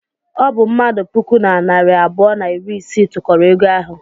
Ọ bụ mmadụ puku na narị abụọ na iri isii tụkọrọ ego ahụ.